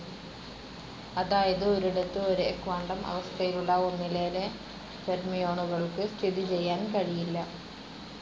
അതായത് ഒരിടത്തു ഒരേ ക്വാണ്ടം അവസ്ഥയിലുള്ള ഒന്നിലേറെ ഫെര്മിയോണുകൾക്കു സ്ഥിതിചെയ്യാൻ കഴിയില്ല.